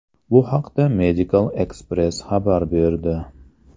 Bu haqda Medical Xpress xabar berdi.